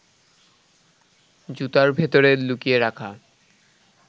জুতার ভেতরে লুকিয়ে রাখা